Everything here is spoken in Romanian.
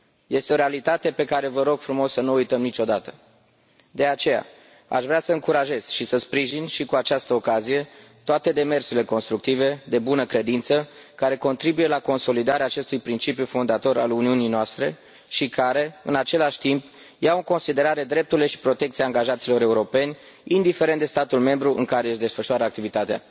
Este o realitate pe care vă rog să nu o uităm niciodată! De aceea, aș vrea să încurajez și să sprijin, și cu această ocazie, toate demersurile constructive de bună credință, care contribuie la consolidarea acestui principiu fondator al Uniunii noastre și care, în același timp, iau în considerare drepturile și protecția angajaților europeni, indiferent de statul membru în care își desfășoară activitatea.